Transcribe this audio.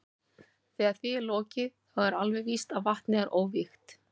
Þegar því er lokið þá er alveg víst að vatnið er óvígt.